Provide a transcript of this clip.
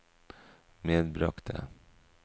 medbragte